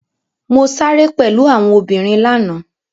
Mo sáré pẹ̀lú àwọn obìnrin lánàá.